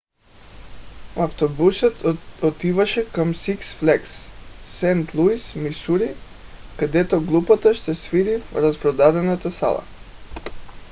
автобусът отиваше към сикс флагс сейнт луис мисури където групата ще свири в разпродадена зала